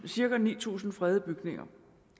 cirka ni tusind fredede bygninger